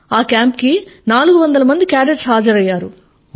ఆ కేంప్ కి 400 మంది కాడెట్స్ హాజరైయ్యారు